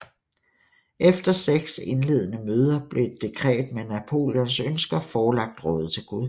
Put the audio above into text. Efter seks indledende møder blev et dekret med Napoleons ønsker forelagt rådet til godkendelse